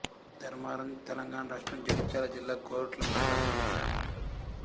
ధర్మారం తెలంగాణ రాష్ట్రం జగిత్యాల జిల్లా కోరుట్ల మండలంలోని గ్రామం